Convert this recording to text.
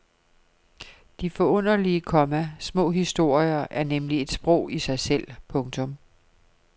De forunderlige, komma små historier er nemlig et sprog i sig selv. punktum